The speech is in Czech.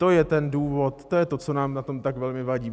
To je ten důvod, to je to, co nám na tom tak velmi vadí.